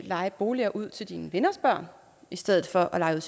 leje boliger ud til sine venners børn i stedet for at leje